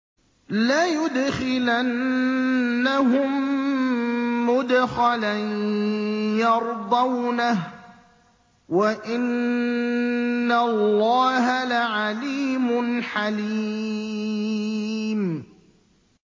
لَيُدْخِلَنَّهُم مُّدْخَلًا يَرْضَوْنَهُ ۗ وَإِنَّ اللَّهَ لَعَلِيمٌ حَلِيمٌ